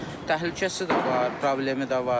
Təhlükəsi də var, problemi də var.